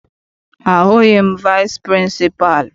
Ahụghị m vici pịrịnsịpalụ.